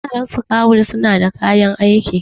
yan sakawul suna da kayan aiki